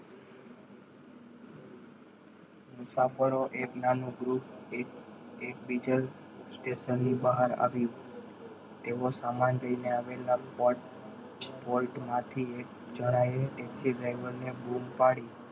મુસાફરોનું એક નાનું Group એ diesel station ની બહાર આવ્યું તેઓ સામાન લઈને આવેલા port port માંથી એક જણાય driver ને બૂમ પાડી.